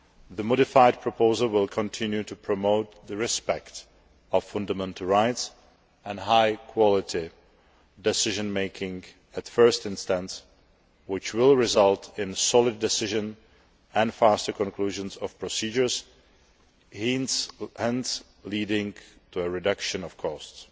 The modified proposal will continue to promote respect for fundamental rights and high quality decision making at first instance, which will result in solid decisions and faster conclusions of procedures, hence, leading to a reduction of costs.